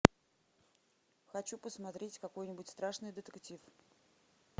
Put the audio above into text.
хочу посмотреть какой нибудь страшный детектив